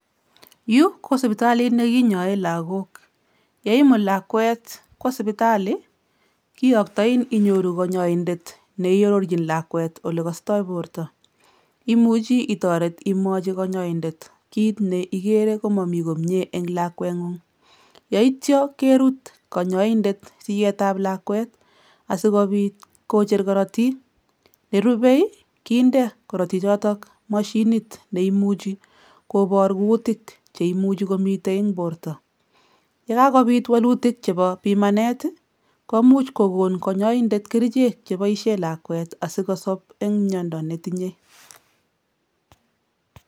Yu ko sipitalit nekinyoe lagok. Yeimut lakwet kwo sipitali kiyoktoin inyoru kanyaindet neiororchin lakwet olekostoi borto. Imuchi itoret imwochi kanyaindet kit neikere komami komie eng' lakweng'ung yeityo kerut kanyaindet siyetab lakwet asikobit kocher korotik. Nerubei, kinde korotichoto mashinit neimuchi kobor kutik cheimuchi komi eng borto. Yekakobit wolutik chebo pimanet, komuch kokon kanyaindet kerichek chebaishe lakwet asikosop eng' miendo netinye.